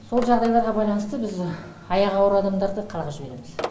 сол жағдайларға байланысты біз аяғы ауыр адамдарды қалаға жібереміз